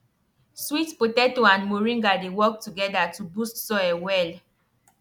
sweet potato and moringa dey work together to boost soil well